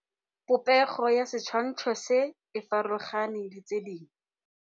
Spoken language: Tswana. Popêgo ya setshwantshô se, e farologane le tse dingwe.